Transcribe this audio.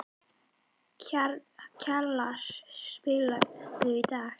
Kjalar, spilaðu lag.